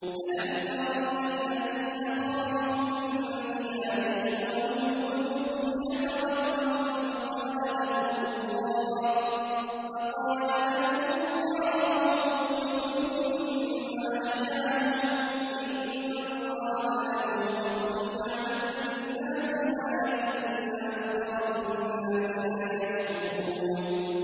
۞ أَلَمْ تَرَ إِلَى الَّذِينَ خَرَجُوا مِن دِيَارِهِمْ وَهُمْ أُلُوفٌ حَذَرَ الْمَوْتِ فَقَالَ لَهُمُ اللَّهُ مُوتُوا ثُمَّ أَحْيَاهُمْ ۚ إِنَّ اللَّهَ لَذُو فَضْلٍ عَلَى النَّاسِ وَلَٰكِنَّ أَكْثَرَ النَّاسِ لَا يَشْكُرُونَ